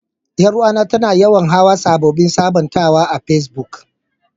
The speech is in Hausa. Yar uwa ta, ta na yawan hau sabobin sabuntawa a pesbuk.